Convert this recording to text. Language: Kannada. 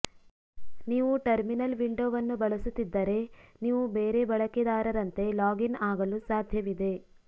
ನೀವು ಟರ್ಮಿನಲ್ ವಿಂಡೊವನ್ನು ಬಳಸುತ್ತಿದ್ದರೆ ನೀವು ಬೇರೆ ಬಳಕೆದಾರರಂತೆ ಲಾಗ್ ಇನ್ ಆಗಲು ಸಾಧ್ಯವಿದೆ